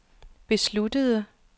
besluttede